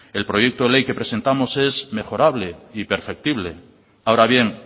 el proyecto ley que presentamos es mejorable y perfectible ahora bien